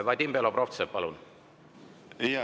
Vadim Belobrovtsev, palun!